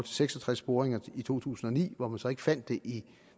seks og tres boringer i to tusind og ni og så ikke fandt det i